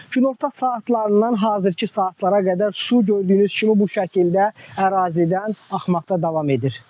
Günorta saatlarından hazırki saatlara qədər su gördüyünüz kimi bu şəkildə ərazidən axmaqda davam edir.